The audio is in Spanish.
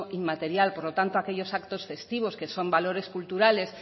inmaterial por lo tanto aquellos actos festivos que son valores culturales